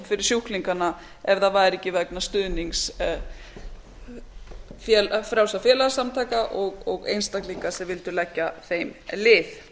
fyrir sjúklingana ef það væri ekki vegna stuðnings frjálsra félagasamtaka og einstaklinga sem vildu leggja þeim lið